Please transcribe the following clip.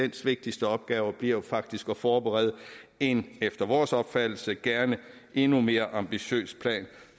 vigtigste opgaver bliver faktisk at forberede en efter vores opfattelse gerne endnu mere ambitiøs plan